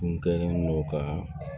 Kun kɛlen don ka